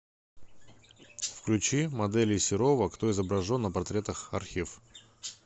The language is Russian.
включи моделей серова кто изображен на портретах архив